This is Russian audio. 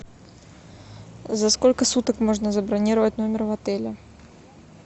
за сколько суток можно забронировать номер в отеле